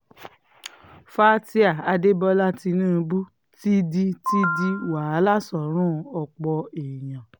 fatia adébólà tinubu ti di ti di wàhálà sọ́rùn ọ̀pọ̀ èèyàn